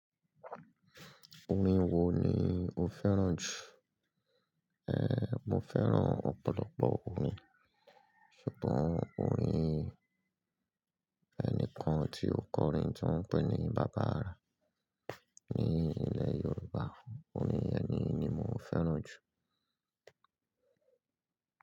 Orin wo ni o fẹ́ràn jù? Ehn, mo fẹ́ràn ọ̀pọ̀lọpọ̀ orin, ṣùgbọ́n orin ẹnìkan tí ó kọrin tí wọ́n ń pè ní Baba Ara ní ilẹ̀ Yorùbá, orin ẹni ni mo fẹ́ràn jù.